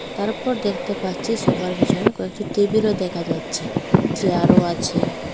তারপর দেখতে পাচ্ছি সোফা এর পিছনে কয়েকটি টেবিল ও দেখা যাচ্ছে চেয়ার ও আছে।